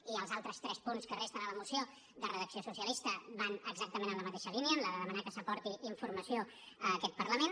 i els altres tres punts que resten a la moció de redacció socialista van exactament en la mateixa línia en la de demanar que s’aporti informació a aquest parlament